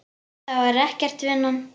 Það var ekkert, vinan.